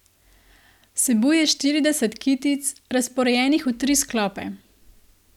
Vsebuje štirideset kitic, razporejenih v tri sklope.